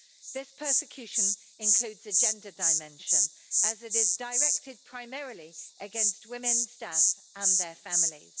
The persecution includes a gender dimension, as it is directed primarily against women staff and their families.